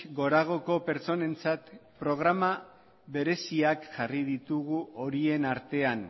goragoko pertsonentzat programa bereziak jarri ditugu horien artean